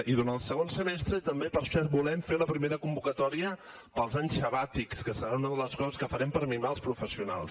i durant el segon semestre també per cert volem fer la primera convocatòria per als anys sabàtics que serà una de les coses que farem per mimar els professionals